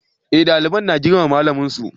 Eh dalibai na girmama malamin su